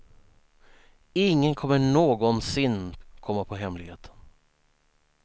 Ingen kommer någonsin komma på hemligheten.